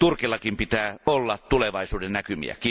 Turkillakin pitää olla tulevaisuudennäkymiä.